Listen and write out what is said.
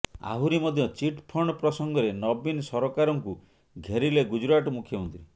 ଆହୁରି ମଧ୍ଯ chit fund ପ୍ରସଙ୍ଗରେ ନବୀନ ସରକାରଙ୍କୁ ଘେରିଲେ ଗୁଜୁରାଟ ମୁଖ୍ୟମନ୍ତ୍ରୀ